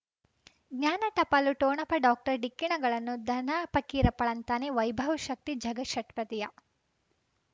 ಜ್ಞಾನ ಟಪಾಲು ಠೊಣಪ ಡಾಕ್ಟರ್ ಢಿಕ್ಕಿ ಣಗಳನು ಧನ ಪಕೀರಪ್ಪ ಳಂತಾನೆ ವೈಭವ್ ಶಕ್ತಿ ಝಗಾ ಷಟ್ಪದಿಯ